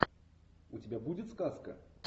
у тебя будет сказка